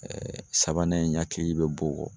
sabanan in n hakili be bɔ o kɔ.